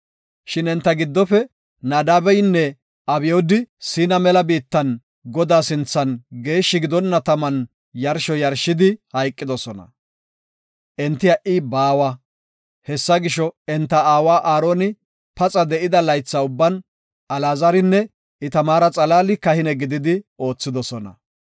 Shin enta giddofe Naadabeynne Abyoodi Siina mela biittan Godaa sinthan geeshshi gidonna taman yarsho yarshidi hayqidosona. Entaw na7i baawa. Hessa gisho, enta aaway Aaroni paxa de7ida laytha ubban Alaazarinne Itamaara xalaali kahine gididi oothidosona.